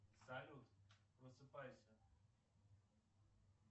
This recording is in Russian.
салют просыпайся